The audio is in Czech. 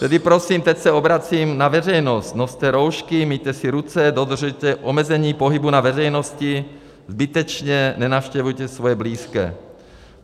Tedy prosím - teď se obracím na veřejnost - noste roušky, myjte si ruce, dodržujte omezení pohybu na veřejnosti, zbytečně nenavštěvujte svoje blízké.